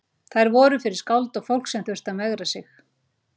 Þær voru fyrir skáld og fólk sem þurfti að megra sig.